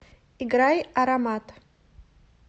играй аромат